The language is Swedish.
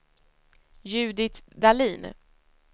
Judit Dahlin